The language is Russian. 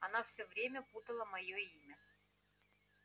она всё время путала моё имя